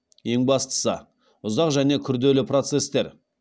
ең бастысы ұзақ және күрделі процестер